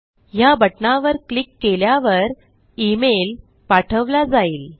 ह्या बटणावर क्लिक केल्यावर इमेल पाठवला जाईल